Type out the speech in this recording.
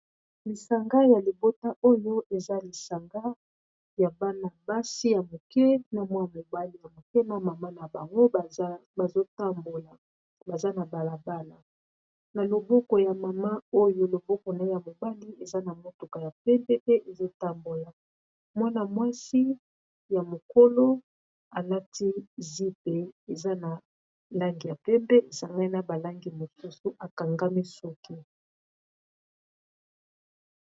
Lisanga ya libota oyo eza lisanga ya bana-basi ya moke na mwana mobali ya moke na mama na bango bazo tambola baza na balabala na loboko ya mama oyo loboko na ya mobali eza na motuka ya pembe pe ezotambola mwana-mwasi ya mokolo alati zip eza na langi ya pembe esangani na balangi mosusu akangami soki.